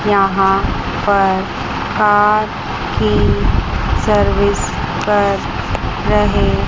यहां पर कार की सर्विस कर रहे --